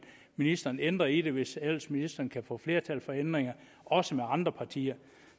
ministeren ændre i det hvis ellers ministeren kan få flertal for ændringer også med andre partier